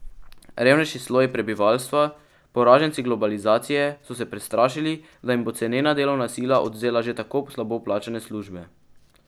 Revnejši sloji prebivalstva, poraženci globalizacije, so se prestrašili, da jim bo cenena delovna sila odvzela že tako slabo plačane službe.